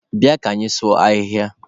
Bịanụ ka anyị sụọ ahịhịa!